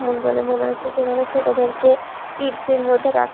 বলে মনে হচ্ছে যেখানে ছোটদেরকে কিডস এর মত রাখা--